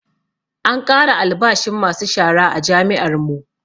An ƙara albashin masu shara a jami'ar mu